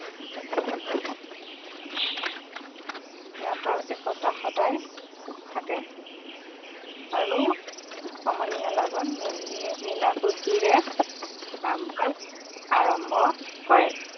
সিহঁতৰ একতা সদায় থাকে আৰু সমনীয়া লগত মিলাপ্ৰীতিৰে কাম-কাজ আৰম্ভ কৰে